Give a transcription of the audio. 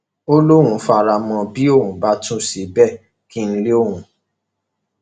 ó lóun fara mọ ọn bí òun bá tún ṣe bẹẹ kí n lé òun